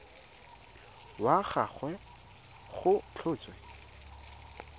wa ga gagwe go tlhotswe